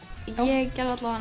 ég gerði